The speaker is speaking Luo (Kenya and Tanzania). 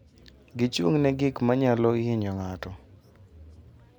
Gichung' ne gik ma nyalo hinyo ng'ato.